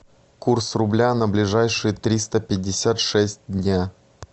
курс рубля на ближайшие триста пятьдесят шесть дня